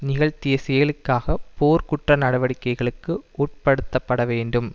நிகழ்த்திய செயல்களுக்காக போர் குற்ற நடவடிக்கைகளுக்கு உட்படுத்தப்பட வேண்டும்